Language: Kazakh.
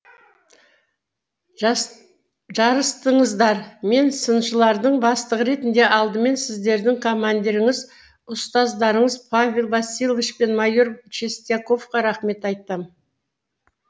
жарыстыңыздар мен сыншылардың бастығы ретінде алдымен сіздердің командиріңіз ұстаздарыңыз павел васильевич пен майор чистяковқа рахмет айтам